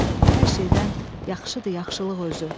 Hər şeydən yaxşıdır yaxşılıq özü.